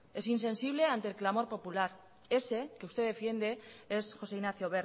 es insensible ante el clamor popular ese que usted defiende es josé ignacio